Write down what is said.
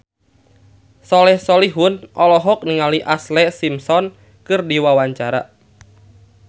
Soleh Solihun olohok ningali Ashlee Simpson keur diwawancara